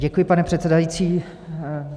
Děkuji, pane předsedající.